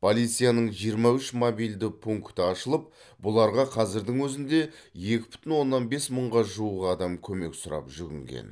полицияның жиырма үш мобильді пункті ашылып бұларға қазірдің өзінде екі бүтін оннан бес мыңға жуық адам көмек сұрап жүгінген